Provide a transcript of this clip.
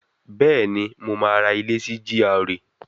Bẹ́ẹ̀ni, mo máa ra ilé sí GRA